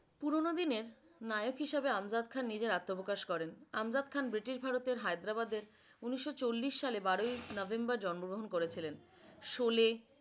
পুরনো দিনের নায়ক হিসেবে আমজাদ খান নিজের আত্মপ্রকাশ করেন আমজাদ খান ব্রিটিশ ভারতের হায়দ্রাবাদের উনিশ চল্লিশ সালের বারোই নভেম্বর জন্ম গ্রহণ করেছিলেন। শোলে,